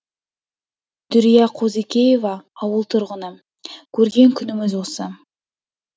дүрия қозыкеева ауыл тұрғыны көрген күніміз осы